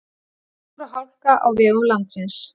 Snjór og hálka á vegum landsins